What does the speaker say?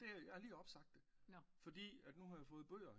Jamen det jeg har lige opsagt det fordi nu har jeg fået bøger